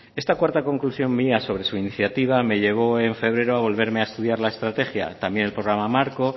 esta cuarta conclusión mía sobre su iniciativa me llevo en febrero a volverme a estudiar la estrategia también el programa marco